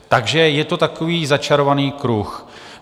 Takže je to takový začarovaný kruh.